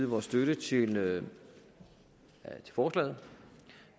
vores støtte til forslaget